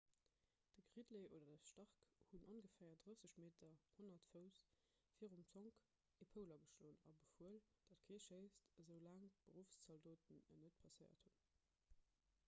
de gridley oder de stark hunn ongeféier 30 m 100 fouss virum zonk e poul ageschloen a befuel datt kee schéisst esou laang d'beruffszaldoten en net passéiert hunn